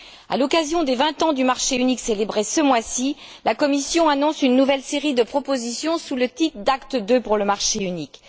À l'occasion des vingt ans du marché unique, célébrés ce mois ci, la Commission annonce une nouvelle série de propositions sous le titre d'Acte II pour le marché unique.